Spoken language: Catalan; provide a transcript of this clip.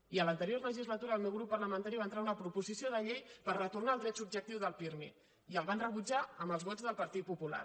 i a l’anterior legislatura el meu grup parlamentari va entrar una proposició de llei per retornar al dret subjectiu del pirmi i el van rebutjar amb els vots del partit popular